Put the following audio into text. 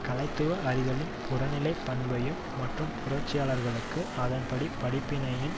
கலைத்துவ அறிதலின் புறநிலை பண்பையும் மற்றும் புரட்சியாளர்களுக்கு அதனது படிப்பினையின்